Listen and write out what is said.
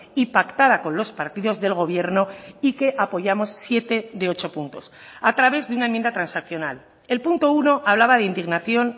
y pactada con los partidos del gobierno y que apoyamos siete de ocho puntos a través de una enmienda transaccional el punto uno hablaba de indignación